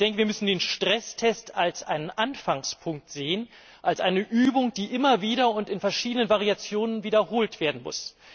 Wir müssen den Stresstest als einen Anfangspunkt sehen, als eine Übung, die immer wieder und in verschiedenen Variationen wiederholt werden muss.